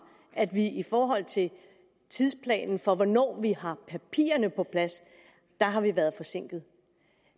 at vi i forhold til tidsplanen for hvornår vi har papirerne på plads har været forsinket